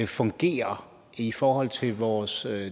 fungerer i forhold til vores